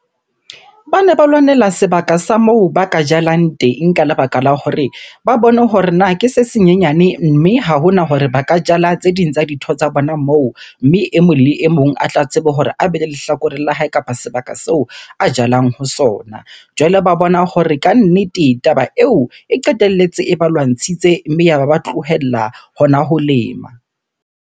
Bane ba lwanela sebaka sa moo ba ka jalang teng ka lebaka la hore ba bone hore na ke se senyenyane mme ha hona hore ba ka jala tse ding tsa dintho tsa bona moo. Mme e mong le e mong a tla tsebe hore a be le lehlakoreng la hae kapa sebaka seo a jalang ho sona. Jwale ba bona hore kannete taba eo e qetelletse e ba lwantshitse mme yaba ba tlohella hona ho lema.